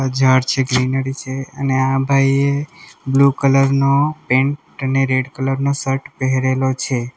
આ ઝાડ છે ગ્રીનરી છે અને આ ભાઈએ બ્લુ કલર નો પેન્ટ અને રેડ કલર નો શર્ટ પહેરેલો છે.